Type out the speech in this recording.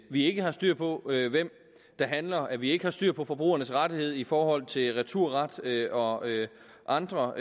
vi ikke har styr på hvem der handler og at vi ikke har styr på forbrugernes rettigheder i forhold til returret og andre